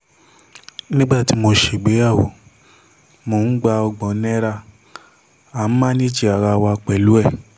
nígbà tí mo ṣègbéyàwó mò ń gba ọgbọ́n náírà à ń mánèèjì ara wa pẹ̀lú ẹ̀